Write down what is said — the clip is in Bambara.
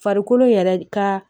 Farikolo yɛrɛ ka